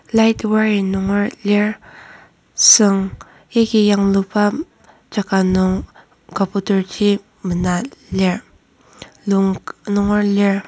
light wire nunger lir süng yagi yangluba jaka nung kaboter ji mena lir lung nunger lir.